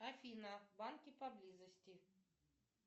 афина банки поблизости